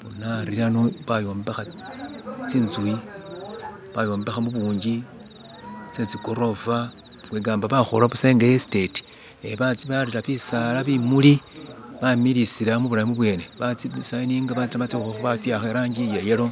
Boona khari khano bayombekha tsinzu bayombekha mubungi tsetsi gorofa kwegamba bakhola buusa nga esiteti batsibwayila bitsala bimuli bamiliyisa mubulayi bubwene batsiditsiyininga batsihakha irangi iyayellow